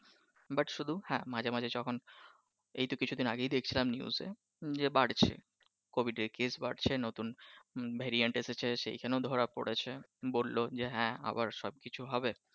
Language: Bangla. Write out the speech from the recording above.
but শুধু হ্যাঁ মাঝে মাঝে যখন এইতো কিছুদিন আগেই দেখছিলাম নিউজে যে বাড়ছে covid এর কেস বাড়ছে, নতুন variant এসেছে সেখানেও ধরা পড়েছে বললও যে হ্যাঁ আবার সব কিছু হবে